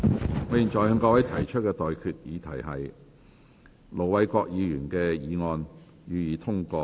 我現在向各位提出的待議議題是：盧偉國議員動議的議案，予以通過。